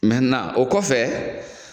o kɔfɛ